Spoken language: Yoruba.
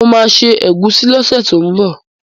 Mo ma se ẹ̀gúsí lọ́sẹ̀ tó ń bọ̀